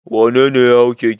Wane ne ya hau keke?